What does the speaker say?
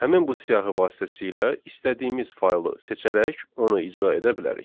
Həmin bu siyahı vasitəsilə istədiyimiz faylı seçərək onu icra edə bilərik.